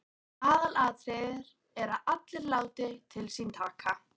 Aðalatriðið er að allir láti til sín taka.